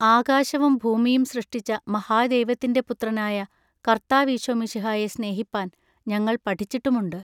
ആകാശവും ഭൂമിയും സൃഷ്ടിച്ച മഹാദൈവത്തിന്റെ പുത്രനായ കൎത്താവിശൊമശിഹായെ സ്നെഹിപ്പാൻ ഞങ്ങൾ പഠിച്ചിട്ടുമുണ്ടു.